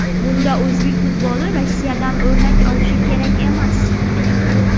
Bunda o‘zbek futboli Rossiyadan o‘rnak olishi kerak emas.